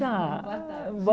Tá Boa tarde. Boa